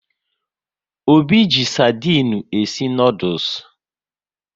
Obi ji sardinu e si noodules